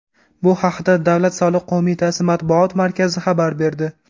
Bu haqda Davlat soliq qo‘mitasi matbuot markazi xabar berdi.